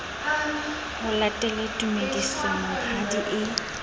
ho latele tumediso monghadi e